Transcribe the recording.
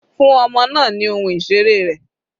Fún ọmọ náà ni ohun ìseré rẹ̀.